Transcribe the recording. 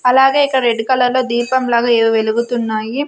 అలాగే ఇకడ రెడ్డు కలర్లో దీపం లాగా ఎవో వెలుగుతున్నాయి.